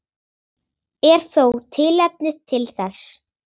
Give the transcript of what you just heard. Er þó tilefni til þess.